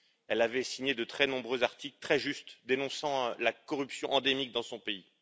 Elle avait signé de très nombreux articles, très justes, dénonçant la corruption endémique dans son pays.